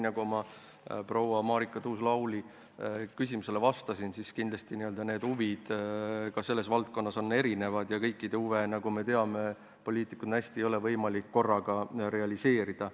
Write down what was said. Nagu ma proua Marika Tuus-Lauli küsimusele vastasin, on huvid selles valdkonnas kindlasti erinevad ja kõikide huve, nagu me teame, ei ole hästi võimalik korraga realiseerida.